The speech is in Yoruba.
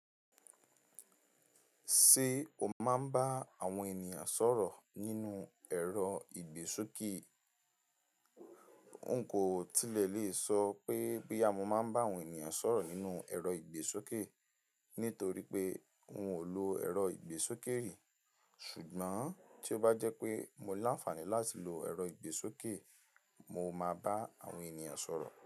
Ṣé o máa ń bá àwọn ènìyàn sọ̀rọ̀ nínú ẹ̀rọ ìgbésókè? Nkò tilẹ̀ lè sọ pé bí àmọ́ máa ń bá àwọn ènìyàn sọ̀rọ̀ nínú ẹ̀rọ ìgbésókè, nítorí pé n ò lo ẹ̀rọ ìgbésókè rí. Ṣùgbọ́n tí ó bá jẹ́ pé mo ní àǹfààní láti lo ẹ̀rọ ìgbésókè, mo máa bá àwọn ènìyàn sọ̀rọ̀